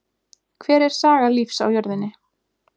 Hver er saga lífs á jörðinni?